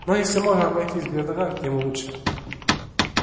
но если можно обойтись без драк тем лучше